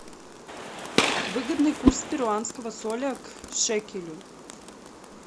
выгодный курс перуанского соля к шекелю